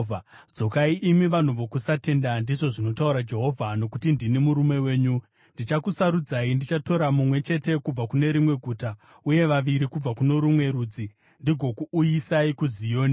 “Dzokai, imi vanhu vokusatenda,” ndizvo zvinotaura Jehovha, “nokuti ndini murume wenyu. Ndichakusarudzai, ndichatora mumwe chete kubva kune rimwe guta, uye vaviri kubva kuno rumwe rudzi, ndigokuuyisai kuZioni.